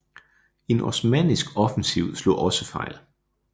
En osmannisk offensiv slog også fejl